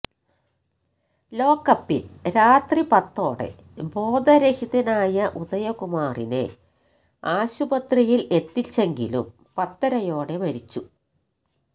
ലോക്കപ്പില് രാത്രി പത്തോടെ ബോധരഹിതനായ ഉദയകുമാറിനെ ആശുപത്രിയില് എത്തിച്ചെങ്കിലും പത്തരയോടെ മരിച്ചു